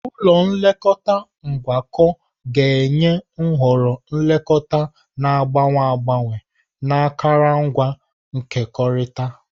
Ụlọ nlekọta ngwakọ ga-enye nhọrọ nlekọta na-agbanwe agbanwe na akụrụngwa nkekọrịta.